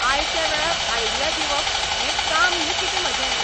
आयत्या वेळार आयडिया दिवप हें काम न्ही कितें म्हाजें.